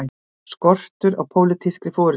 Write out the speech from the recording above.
Skortur á pólitískri forystu